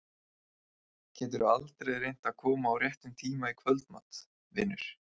Geturðu aldrei reynt að koma á réttum tíma í kvöldmat, vinur?